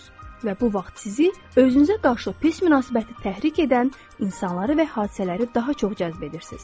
Və bu vaxt sizi özünüzə qarşı pis münasibəti təhrik edən insanları və hadisələri daha çox cəzb edirsiz.